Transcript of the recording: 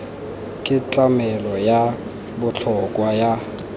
ke tlamelo ya botlhokwa ya